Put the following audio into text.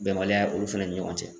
Bɛnbaliya olu fɛnɛ ni ɲɔgɔn cɛ